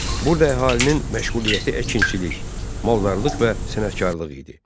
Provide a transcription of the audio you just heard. Burda əhalinin məşğuliyyəti əkinçilik, maldarlıq və sənətkarlıq idi.